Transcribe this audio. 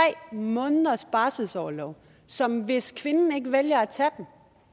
måneders barselsorlov som hvis kvinden ikke vælger at tage